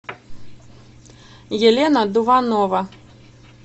елена дуванова